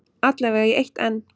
Alla vega í eitt enn.